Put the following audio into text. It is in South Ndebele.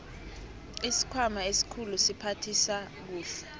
isikhwama esikhulu siphathisa kuhle